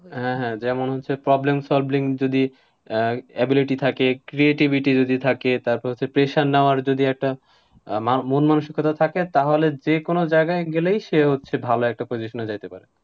হ্যাঁ হ্যাঁ, যেমন হচ্ছে problem solving যদি আহ ability থাকে, creativity থাকে, তারপর হচ্ছে pressure নেওয়ার একটা আহ মন মানুষিকতা থাকে, তাহলে যেকোনো জায়গায় গেলেই সে হচ্ছে ভালো একটা position এ যেতে পারে।